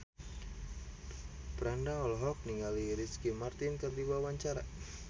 Franda olohok ningali Ricky Martin keur diwawancara